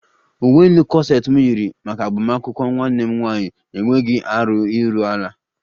Uwe elu kọseti m yiri maka agbamakwụkwọ nwanne m nwaanyị enweghi arụ iru ala